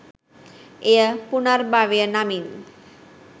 එය පුනර්භවය නමින්